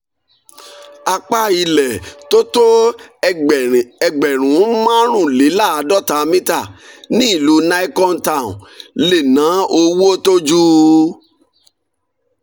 apá ilẹ̀ tó tó ẹgbẹ̀rún márùnléláàádọ́ta mítà ní ìlú nicon town lè ná owó tó ju